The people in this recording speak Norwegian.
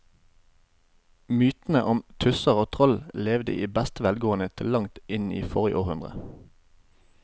Mytene om tusser og troll levde i beste velgående til langt inn i forrige århundre.